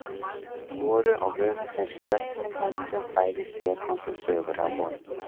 Voru á vörum þess jöfnum höndum kvæði Stefáns og sögur af honum.